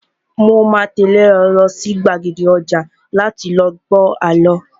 Mo máa tẹ́lé ẹ lọ sí gbàgede ọjà láti lọ gbọ àlọ́